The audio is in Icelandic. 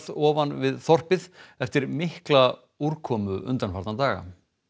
ofan þorpið eftir mikla úrkomu undanfarna daga